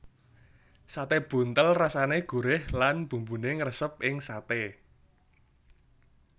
Sate buntel rasane gurih lan bumbune ngresep ing sate